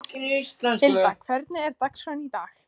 Hilda, hvernig er dagskráin í dag?